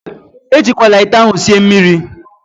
Ejikwala ite ahụ sie mmiri!